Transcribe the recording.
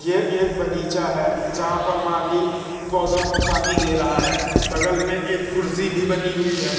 ये एक बगीचा है जहां पर माली पौधों को पानी दे रहा है बगल में एक कुर्सी भी बनी हुई है।